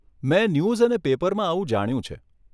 મેં ન્યૂઝ અને પેપરમાં આવું જાણ્યું છે.